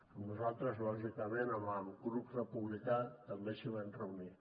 amb nosaltres lògicament amb el grup republicà també s’hi van reunir